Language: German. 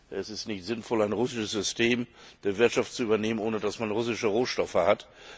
Es ist nicht sinnvoll, ein russisches System der Wirtschaft zu übernehmen, ohne dass man russische Rohstoffe hat.